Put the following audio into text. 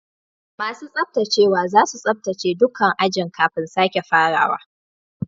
Masun tsabtacewa zasu tsabtace dukan ajin kafin sake farawa.